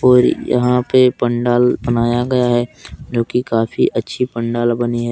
और यहां पे पंडाल बनाया गया है जो कि काफी अच्छी पंडाल बनी है।